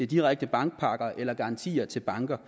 direkte bankpakker eller garantier til banker